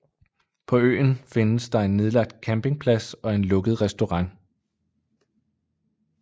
På øen findes der en nedlagt campingplads og en lukket restaurant